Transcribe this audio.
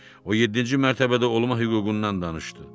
O yeddinci mərtəbədə olma hüququndan danışdı.